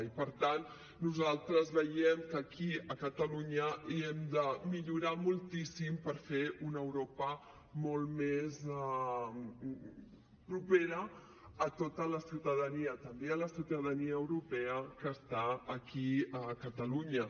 i per tant nosaltres veiem que aquí a catalunya hem de millorar moltíssim per fer una europa molt més propera a tota la ciutadania també a la ciutadania europea que està aquí a catalunya